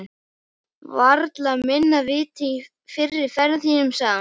Varla minna vit en í fyrri ferðum þínum, sagði hún.